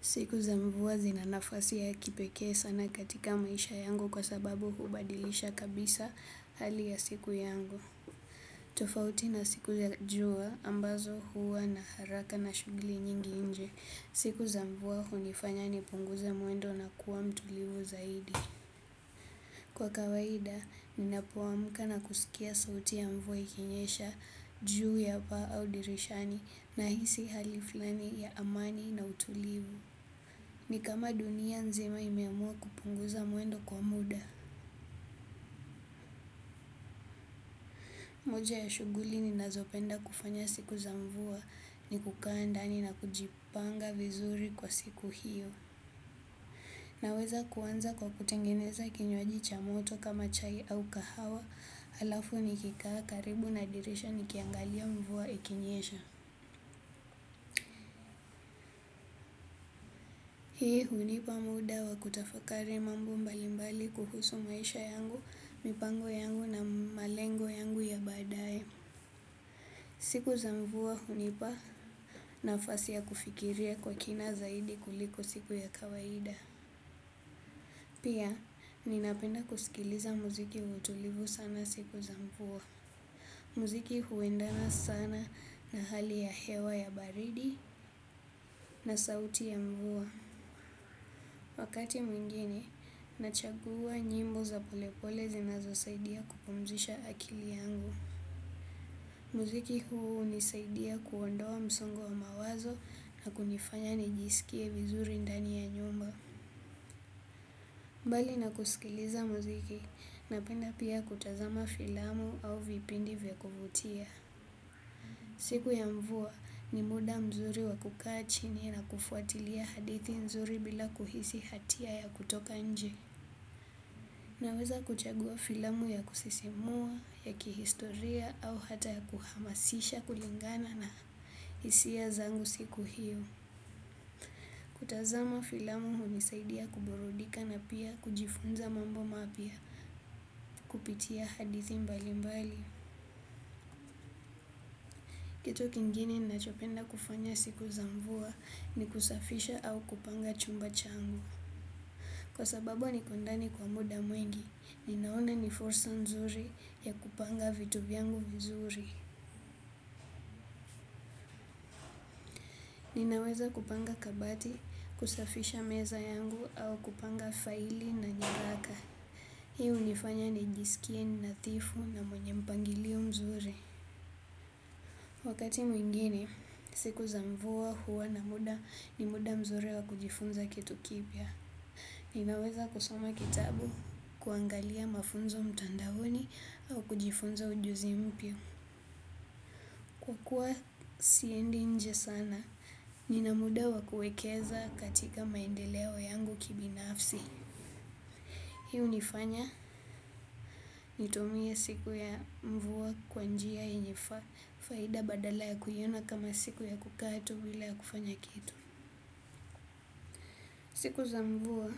Siku za mvua zina nafasi ya kipekee sana katika maisha yangu kwa sababu hubadilisha kabisa hali ya siku yangu. Tofauti na siku za jua ambazo huwa na haraka na shughuli nyingi nje. Siku za mvua hunifanya nipunguze mwendo na kuwa mtulivu zaidi. Kwa kawaida, ninapoamuka na kusikia sauti ya mvua ikinyesha juu ya paa au dirishani nahisi hali flani ya amani na utulivu. Ni kama dunia nzima imeamua kupunguza muendo kwa muda. Moja ya shughuli ninazopenda kufanya siku za mvua ni kukaa ndani na kujipanga vizuri kwa siku hiyo. Naweza kuanza kwa kutengeneza kinywaji cha moto kama chai au kahawa halafu nikikaa karibu na dirisha nikiangalia mvua ikinyesha. Hii hunipa muda wa kutafakari mambo mbalimbali kuhusu maisha yangu, mipango yangu na malengo yangu ya badaye. Siku za mvua hunipa nafasi ya kufikiria kwa kina zaidi kuliko siku ya kawaida. Pia, ninapenda kusikiliza muziki wa utulivu sana siku za mvua. Muziki huendana sana na hali ya hewa ya baridi na sauti ya mvuwa. Wakati mwingine, nachagua nyimbo za polepole zinazo saidia kupumzisha akili yangu. Muziki huu hunisaidia kuondoa msongo wa mawazo na kunifanya nijisikie vizuri ndani ya nyumba. Mbali na kusikiliza muziki napenda pia kutazama filamu au vipindi vya kuvutia. Siku ya mvua ni muda mzuri wa kukaa chini na kufuatilia hadithi nzuri bila kuhisi hatia ya kutoka nje. Naweza kuchagua filamu ya kusisimua, ya kihistoria au hata ya kuhamasisha kulingana na hisia zangu siku hiyo. Kutazama filamu hunisaidia kuburudika na pia kujifunza mambo mapya kupitia hadithi mbali mbali. Kitu kingine nachopenda kufanya siku za mvua ni kusafisha au kupanga chumba changu. Kwa sababu niko ndani kwa muda mwengi, ninaona ni fursa nzuri ya kupanga vitu vyangu vizuri. Ninaweza kupanga kabati, kusafisha meza yangu au kupanga faili na nyaraka. Hii hunifanya nijisikie ni nadhifu na mwenye mpangilio mzuri. Wakati mwingine, siku za mvua huwa na muda ni muda mzuri wa kujifunza kitu kipya. Ninaweza kusoma kitabu, kuangalia mafunzo mtandaoni au kujifunza ujuzi mpya. Kukuwa siendi nje sana, nina muda wa kuekeza katika maendeleo yangu kibinafsi. Hii hunifanya nitumie siku ya mvua kwa njia yenye faida badala ya kuiona kama siku ya kukaa tu bila ya kufanya kitu. Siku za mvua